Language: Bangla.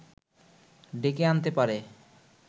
ডেকে আনতে পারে